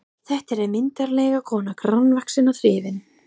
Þetta er myndarleg kona, grannvaxin og þrifin.